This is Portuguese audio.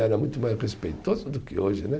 Era muito mais respeitoso do que hoje, né?